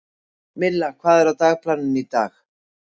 Milla, hvað er á dagatalinu í dag?